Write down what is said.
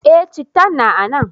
Eh, cittan na a nan.